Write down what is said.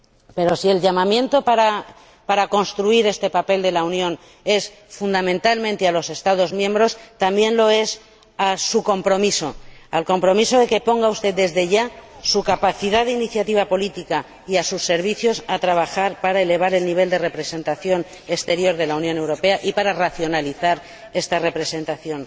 Pero, si el llamamiento para construir este papel de la Unión es fundamentalmente a los Estados miembros, también lo es a su compromiso, al compromiso de que ponga usted, desde ya, su capacidad de iniciativa política y a sus servicios a trabajar para elevar el nivel de representación exterior de la Unión Europea y para racionalizar esta representación